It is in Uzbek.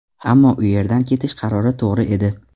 Ammo u yerdan ketish qarori to‘g‘ri edi.